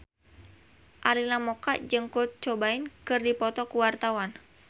Arina Mocca jeung Kurt Cobain keur dipoto ku wartawan